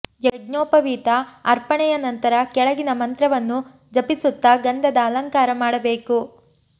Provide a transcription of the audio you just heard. ಯಜ್ಞೋಪವಿತ ಅರ್ಪಣೆಯ ನಂತರ ಕೆಳಗಿನ ಮಂತ್ರವನ್ನು ಜಪಿಸುತ್ತಾ ಗಂಧದ ಅಲಂಕಾರ ಮಾಡಬೇಕು